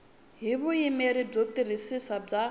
hi vuyimeri byo tiyisisa bya